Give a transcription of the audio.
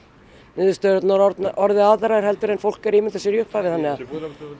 niðurstöðurnar orðið aðrar heldur en fólk er að ímynda sér í upphafi þannig að eigum